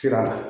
Sira la